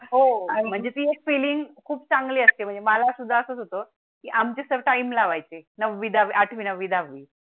हो म्हणजे ती फिलिंग खूप चांगली असते. मलासुद्धा असंच होतो की आमचे सर टाइम लावायचे. नववी दहावी आठवी नववी दहावी